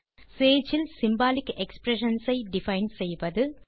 Sage இல் symbolic expressions ஐ define செய்வது